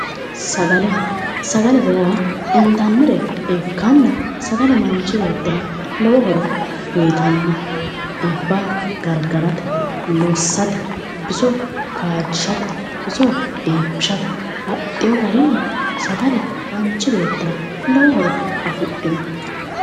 Sagale sagalete yaa intannire ikkanna sagale manchi beettira lowo horo uyitanno dhibba gargarate lossate biso kaajjishate biso iibbishate baxxeyo garinni sagale manchi beettira lowo horo afidhino